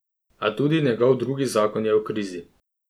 A tudi njegov drugi zakon je v krizi.